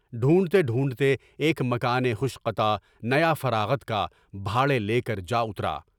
ڈھونڈتے ڈھونڈتے ایک مکان خوش قطع نیا فراغت کا بڑھے لے کر جا اُترا۔